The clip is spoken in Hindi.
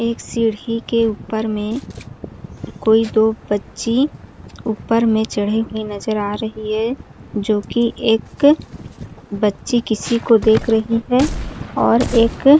एक सीढ़ी के ऊपर में कोई दो बच्ची ऊपर में चढ़े हुए नज़र आ रही है जो कि एक बच्ची किसी को देख रही है और एक--